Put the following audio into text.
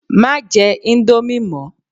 Má jẹ íńdómì mọ!